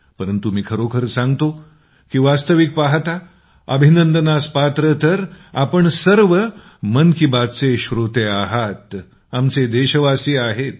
परंतु मी खरोखर सांगतो की वास्तविक पहाता अभिनंदनास पात्र तर आपण सर्व मन की बातचे श्रोते आहात आमचे देशवासी आहेत